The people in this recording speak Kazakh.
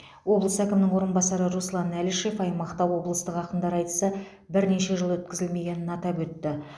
облыс әкімінің орынбасары руслан әлішев аймақта облыстық ақындар айтысы бірнеше жыл өткізілмегенін атап өтті